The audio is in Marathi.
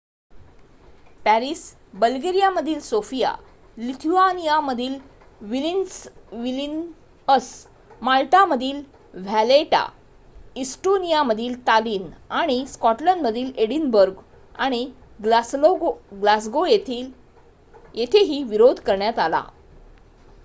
पॅरिस बल्गेरियामधील सोफिया लिथुआनियामधील विल्निअस माल्टामधील व्हॅलेटा इस्टोनियामधील टालिन आणि स्कॉटलंडमधील एडिनबर्ग आणि ग्लासगो येथेही विरोध करण्यात आला